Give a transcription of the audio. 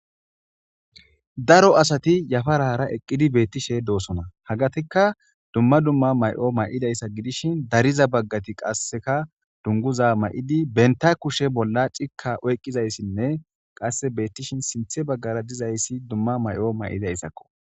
daro asati yafara hara eqqidi beettishe doosona hagatikka dumma dumma may7o may7idayssa gidishin dariza baggati qasseka dunguza may7idi benta kushe bolla cikka oyqqizayssinne qasse beettishin sinthe baggara dizayssi dumma may7o may7idayssakko